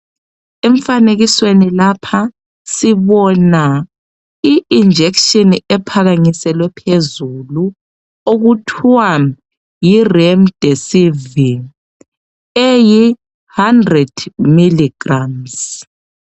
Emfanekisweni lapha sibona i-injection ephakamiselwe phezulu okuthiwa yiRemdesivir. Eyi 100 ml grammes.